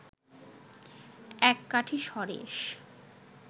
এক কাঠি সরেস